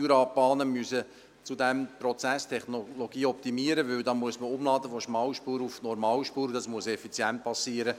Die Jurabahnen müssen zudem die Prozesstechnologie optimieren, weil von Schmal- auf Normalspur umgeladen werden muss, und das muss effizient geschehen.